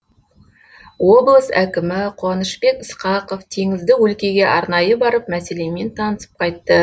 облыс әкімі қуанышбек ысқақов теңізді өлкеге арнайы барып мәселемен танысып қайтты